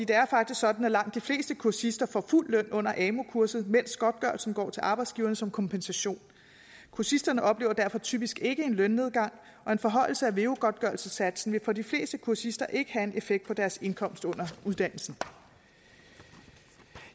er faktisk sådan at langt de fleste kursister får fuld løn under amu kurset mens godtgørelsen går til arbejdsgiverne som kompensation kursisterne oplever derfor typisk ikke en lønnedgang og en forhøjelse af veu godtgørelsessatsen vil for de fleste kursister ikke have en effekt på deres indkomst under uddannelsen